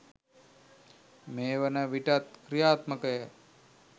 මේ වන විටත් ක්‍රියාත්මකය